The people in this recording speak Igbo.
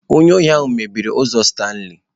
Onye ohi ahụ mebiri ụzọ Stanley.